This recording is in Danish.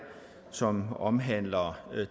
som omhandler